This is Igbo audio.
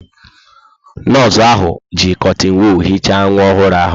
Nọọsụ ahụ ji kọtịn wọọl hichaa nwa ọhụrụ ahụ.